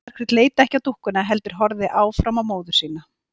Margrét leit ekki á dúkkuna heldur horfði áfram á móður sína.